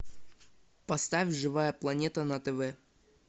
поставь живая планета на тв